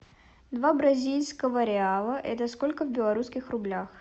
два бразильского реала это сколько в белорусских рублях